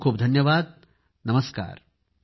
खूप खूप धन्यवाद नमस्कार